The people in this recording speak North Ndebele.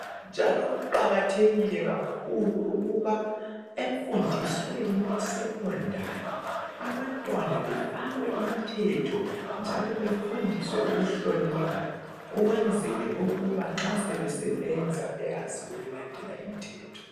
Njalo kuqakathekile kakhulu ukuba emfundisweni ye sekhondari abantwana befakwe imithetho njalo befundiswe ukuhlonipha ukwenzela ukuba nxa sebesebenza beyazi ukulandela imithetho.